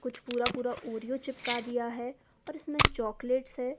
कुछ पूरा पूरा ऑरिओ चिपका दिया है और इसमें चॉकलेट्स है।